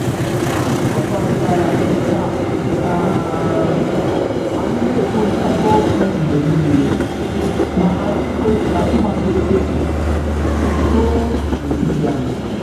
Anyị kwekọrịtara ka um anyị na-ekwukọrịta okwu mgbe niile ma ghara ikwe ka ịgbachi nkịtị too n'etiti anyị.